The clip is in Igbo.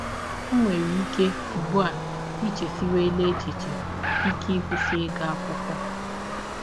Ọ nwere ike, ụgbụ a, i chesiwela echiche ike ịkwụsị ịga akwụkwọ.